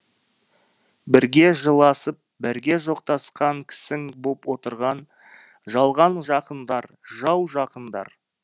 бірге жыласып бірге жоқтасқан кісің боп отырған жалған жақындар жау жақындар